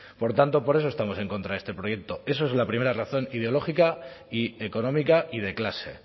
por tanto por eso estamos en contra de este proyecto esa es la primera razón ideológica y económica y de clase